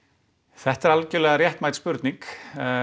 þetta er algjörlega réttmæt spurning